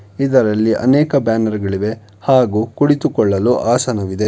ಇದರಲ್ಲಿ ಅನೇಕ ಬ್ಯಾನರ್ ಗಳಿವೆ ಹಾಗೂ ಕುಳಿತುಕೊಳ್ಳಲು ಆಸನವಿದೆ.